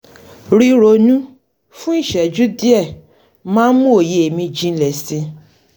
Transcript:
ríronú fún ìṣẹ́jú díẹ̀ máa ń ń mú òye mi jinlẹ̀ si